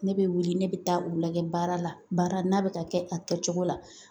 Ne bɛ wuli ne bɛ taa u lajɛ baara la baara n'a bɛ ka kɛ a kɛcogo la